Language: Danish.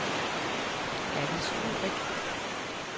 Allis Ulrich